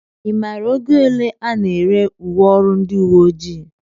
I maara ego ole a na-ere uwe ọrụ ndị uwe ojii?